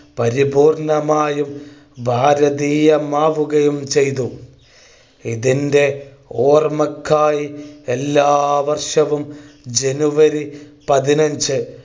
പരിപൂർണ്ണമായും ഭാരതീയമാവുകയും ചെയ്തു. ഇതിന്റെ ഓർമക്കായി എല്ലാ വർഷവും ജനുവരി പതിനഞ്ചു